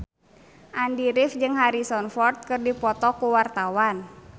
Andy rif jeung Harrison Ford keur dipoto ku wartawan